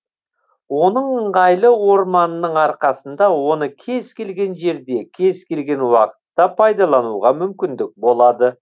оның ыңғайлы орамының арқасында оны кез келген жерде кез келген уақытта пайдалануға мүмкіндік болады